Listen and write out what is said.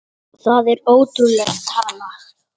Það er ótrúleg tala.